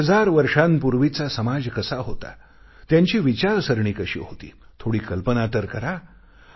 एक हजार वर्षांपूर्वीचा समाज कसा होता त्यांची विचारसरणी कशी होती थोडी कल्पना तर करा